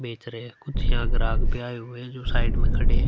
बेच रहे हैं कुछ यहाँ ग्राहक भी आये हुए हैं जो साइड में खड़े हैं।